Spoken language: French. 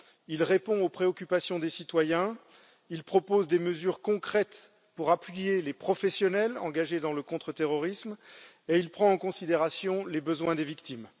Il répond aux préoccupations des citoyens, il propose des mesures concrètes pour appuyer les professionnels engagés dans le contre terrorisme et il prend en considération les besoins des victimes.